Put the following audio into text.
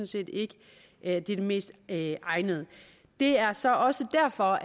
set ikke at det er det mest egnede det er så også derfor